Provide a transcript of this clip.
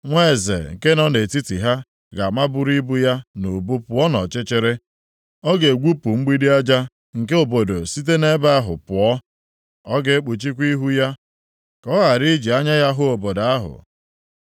“Nwa eze nke nọ nʼetiti ha ga-amaburu ibu ya nʼubu pụọ nʼọchịchịrị, ọ ga-egwupụ mgbidi aja nke obodo site nʼebe ahụ pụọ. Ọ ga-ekpuchikwa ihu ya ka ọ ghara iji anya ya hụ obodo ahụ.